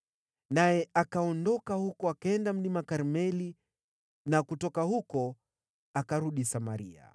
Naye akaondoka huko, akaenda Mlima Karmeli, na kutoka huko akarudi Samaria.